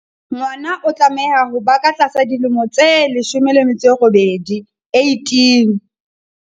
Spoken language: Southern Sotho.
Ngwana o tlameha ho ba ka tlasa dilemo tse 18.